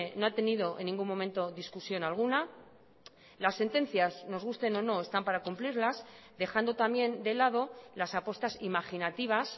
no ha tenido en ningún momento discusión alguna las sentencias nos gusten o no están para cumplirlas dejando también de lado las apuestas imaginativas